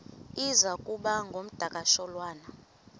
iza kuba ngumdakasholwana